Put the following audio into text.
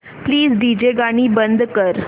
please DJ गाणी बंद कर